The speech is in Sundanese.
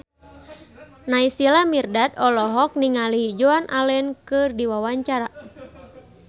Naysila Mirdad olohok ningali Joan Allen keur diwawancara